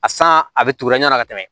A san a bɛ turu yann'a ka tɛmɛ